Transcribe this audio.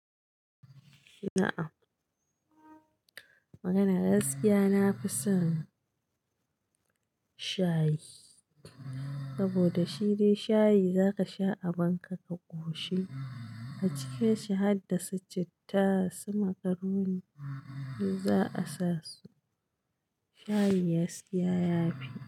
Na'am magana gaskiya nafison shayi saboda shine shayi zaka sha a banka ka koshi a cike shi harda succittasu macaroni yanzu zaa samu shayi gasiya yafi.